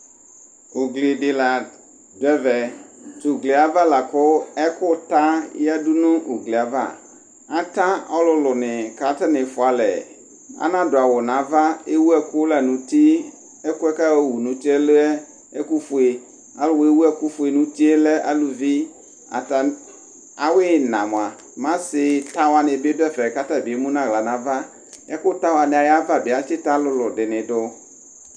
ugli di la du ɛvɛ t'oglie ava la kò ɛkò ta ya du no uglie ava ata ɔlòlò ni k'atani fua alɛ ana du awu n'ava ewu ɛkò la n'uti ɛkòɛ k'ayɔ wu n'utie lɛ ɛkò fue alò wa ewu ɛkò fue n'utie lɛ aluvi ata awu ina moa m'asi ta wani bi du ɛfɛ k'atabi emu n'ala n'ava ɛkò ta wani ayi ava bi atsi ta alòlò di ni do.